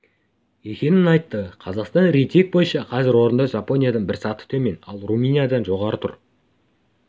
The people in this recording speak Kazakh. екенін айтты қазақстан рейтинг бойынша қазір орында жапониядан бір саты төмен ал румыниядан жоғары тұр